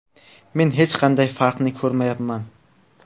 Men hech qanday farqni ko‘rmayapman.